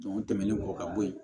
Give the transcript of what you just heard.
o tɛmɛnen kɔ ka bɔ yen